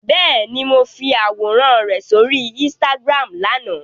Bẹ́ẹ̀ni, mo fi àwòrán rẹ sóri Instagram lánàá.